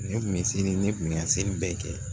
Ne kun bɛ seli ne kun bɛ ka seli bɛɛ kɛ